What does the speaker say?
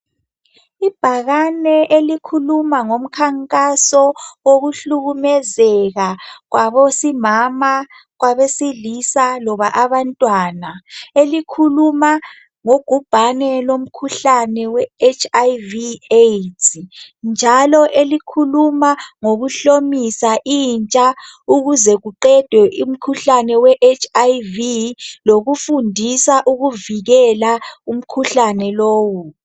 Ibhakane elikhuluma ngomkhankaso wokuhlukumezeka kwabesifazane, kwabesilisa loba okwabantwana. Elikhuluma ngobhubhane lomkhuhlane we HIV AIDS njalo elikhuluma ngokuhlomisa intsha ukuze kuqedwe umkhuhlane we Aids lokufundisa ukuvikela umkhuhlane lowu.